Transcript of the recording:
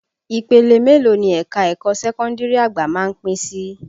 Ìpele mélòó ni ẹ̀ka ẹ̀kọ́ sẹ́kọ́ndìrì àgbà má ń pín sí?